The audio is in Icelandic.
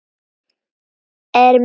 Ermin: þvílík reisn!